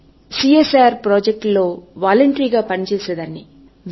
అపుడు నేను CSR projects లో వాలంటరీ గ పని చేసేందుకు వెళ్ళాను